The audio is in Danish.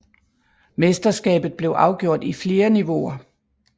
Mesterskabet blev afgjort i flere niveauer